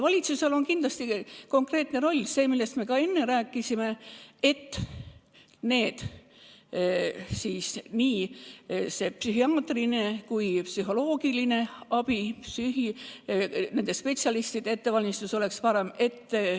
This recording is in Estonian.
Valitsusel on kindlasti konkreetne roll – me sellest enne juba rääkisime – selles, et nii psühhiaatriline kui ka psühholoogiline abi ja nende spetsialistide ettevalmistus oleks parem.